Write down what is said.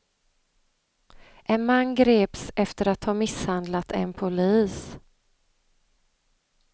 En man greps efter att ha misshandlat en polis.